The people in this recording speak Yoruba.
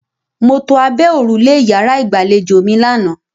Mo to abẹ́ òrùlé ìyàrá-ìgbàlejò mi lánàá.